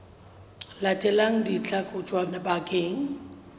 latelang di tla kotjwa bakeng